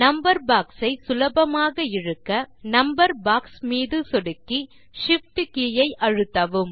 number box ஐ சுலபமாக இழுக்க நம்பர் பாக்ஸ் மீது சொடுக்கி Shift கே ஐ அழுத்தவும்